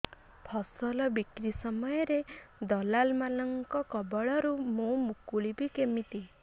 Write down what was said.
ଫସଲ ବିକ୍ରୀ ସମୟରେ ଦଲାଲ୍ ମାନଙ୍କ କବଳରୁ ମୁଁ ମୁକୁଳିଵି କେମିତି